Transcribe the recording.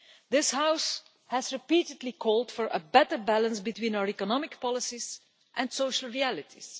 This House has repeatedly called for a better balance between our economic policies and social realities.